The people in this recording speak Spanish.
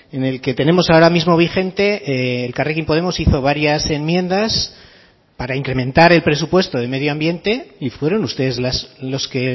en el que tenemos ahora mismo vigente elkarrekin podemos hizo varias enmiendas para incrementar el presupuesto de medio ambiente y fueron ustedes los que